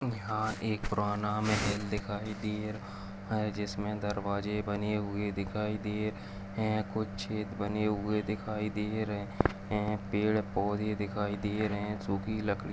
यहाँ एक पुराना महल दिखाई दे रहा है जिसमें दरवाजे बने हुए दिखाई दे रहें हैं कुछ छेद बने हुए दिखाई दे रहें हैं पेड़ पौधे दिखाई दे रहें हैं सुखी लकड़ी --